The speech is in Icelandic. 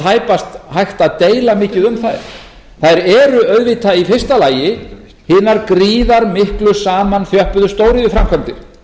tæpast hægt að deila mikið um þær þær eru auðvitað í fyrsta lagi hinar gríðarmiklu samanþjöppuðu stóriðjuframkvæmdir